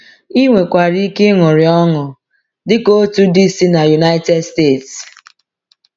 Ị nwekwara ike ịṅụrị ọṅụ, dị ka otu di si n’United States.